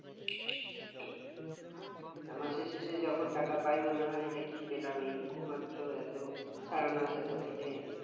আর মাসের শেষে যখন টাকা পাই তখন মনে হয় এটা কি পেলাম এই টুকু মাত্র এত সারা মাস এত খেটে